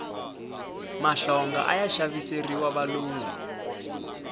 mahlonga aya xaviseriwa valungu